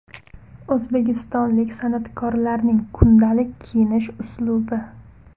O‘zbekistonlik san’atkorlarning kundalik kiyinish uslubi .